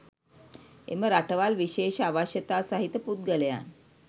එම රටවල් විශේෂ අවශ්‍යතා සහිත පුද්ගලයන්